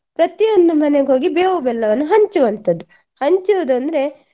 ಪ್ರತಿಯೊಂದು ಮನೆಗ್ ಹೋಗಿ ಬೇವು ಬೆಲ್ಲವನ್ನು ಹಂಚುವಂತದ್ದು ಹಂಚುವುದಂದ್ರೆ